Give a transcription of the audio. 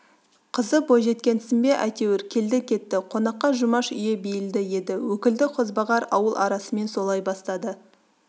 қызы бойжеткесін бе әйтеуір келді-кетті қонаққа жұмаш үйі бейілді еді өкілді қозбағар ауыл арасымен солай бастады